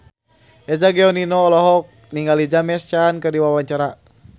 Eza Gionino olohok ningali James Caan keur diwawancara